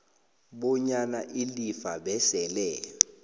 bonyana ilifa besele